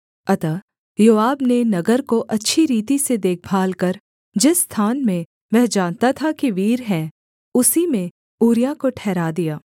अतः योआब ने नगर को अच्छी रीति से देखभाल कर जिस स्थान में वह जानता था कि वीर हैं उसी में ऊरिय्याह को ठहरा दिया